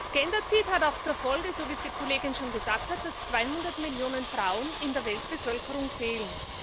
Genderzid hat auch zur Folge, so wie es die Kollegin schon gesagt hat, dass 200 Millionen Frauen in der Weltbevölkerung fehlen.